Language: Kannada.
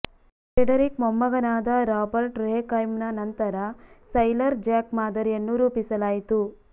ಫ್ರೆಡೆರಿಕ್ ಮೊಮ್ಮಗನಾದ ರಾಬರ್ಟ್ ರುಯೆಕ್ಹೈಮ್ನ ನಂತರ ಸೈಲರ್ ಜ್ಯಾಕ್ ಮಾದರಿಯನ್ನು ರೂಪಿಸಲಾಯಿತು